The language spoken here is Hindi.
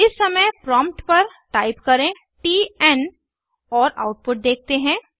इस समय प्रॉम्प्ट पर टाइप करें टिन और आउटपुट देखते हैं